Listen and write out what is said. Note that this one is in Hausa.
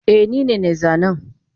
Eh nine nai zanen